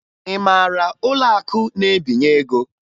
Ị mara ụlọakụ na-ebinye ego?